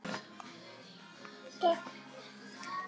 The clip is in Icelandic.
Jú, þetta hafði verið alveg frábær helgi.